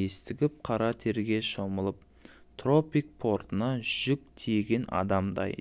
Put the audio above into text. ентігіп қара терге шомылдытропик портында жүк тиеген адамдай